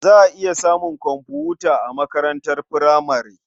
Za a iya samun komfuta a makarantar furamare.